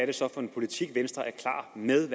det så er for en politik venstre er klar med